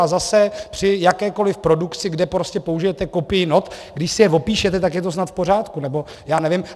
A zase při jakékoliv produkci, kde prostě použijete kopii not, když si je opíšete, tak je to snad v pořádku, nebo já nevím.